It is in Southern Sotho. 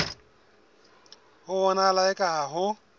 ho bonahala eka ha ho